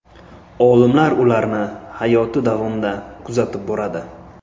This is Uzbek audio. Olimlar ularni hayoti davomida kuzatib boradi.